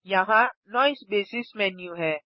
यहाँ noise basis menu है